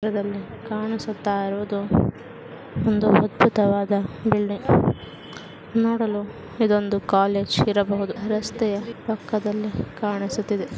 ಇದರಲ್ಲಿ ಕಾಣಿಸುತ್ತಾ ಇರುವುದು ಒಂದು ಅದ್ಭುತವಾದ ಬಿಲ್ಡಿಂಗ್ ನೋಡಲು ಇದೊಂದು ಕಾಲೇಜ್ ತರ ರಸ್ತೆಯ ಬದಿಯಲ್ಲಿ--